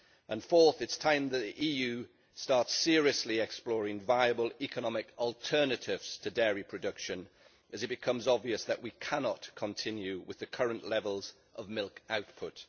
And fourth, it is time the EU started seriously exploring viable economic alternatives to dairy production as it becomes obvious that we cannot continue with the current levels of milk output.